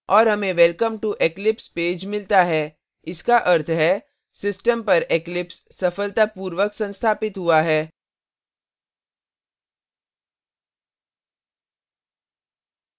और हमें welcome to eclipse page मिलता है इसका अर्थ है system पर eclipse सफलतापूर्वक संस्थापित हुआ है